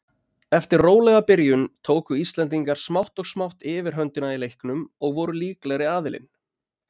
Eftir rólega byrjun tóku Íslendingar smátt og smátt yfirhöndina í leiknum og voru líklegri aðilinn.